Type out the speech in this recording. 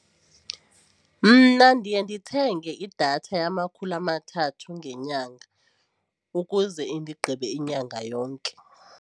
Mna ndiye ndithenge idatha yamakhulu amathathu ngenyanga ukuze indigqibe inyanga yonke.